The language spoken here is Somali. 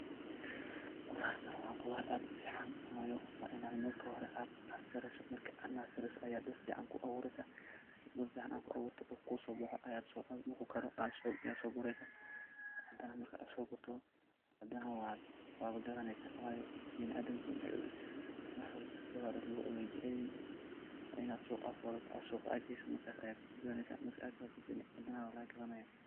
Qoothartan wa qoothar aad iyo aad u fican wayo, Ina marki horay aat nursery soh, Aya sufican u abuureeysah, dulka Aya ku abuureeysah marku kusobaxoo, marku garoh Aya so kureysah marka so Goortoh, handanah waGathaneysah wyo binaadam muhim wax walbo quuthar way jaceelyahin Ina marki hori suuqa AA geeysoh wanaga gathaneysah marka Gathatoh Wana laga gathanaya.